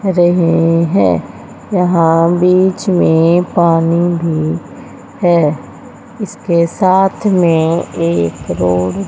रहे है यहां बीच में पानी भी है इसके साथ में एक रोड --